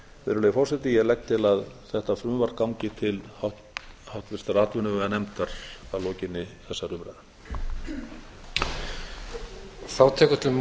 virðulegi forseti ég legg til að þetta frumvarp gangi til háttvirtrar atvinnuveganefndar að lokinni þessari umræðu